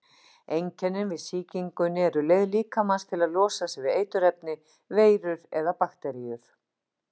Einkennin við sýkingunni eru leið líkamans til að losa sig við eiturefni, veirur eða bakteríur.